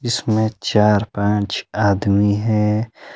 इसमें चार पांच आदमी हैं।